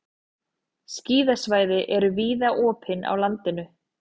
Skíðasvæði eru víða opin á landinu